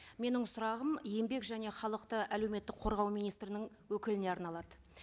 менің сұрағым еңбек және халықты әлеуметтік қорғау министрінің өкіліне арналады